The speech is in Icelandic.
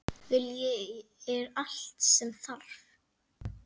Vilji er allt sem þarf.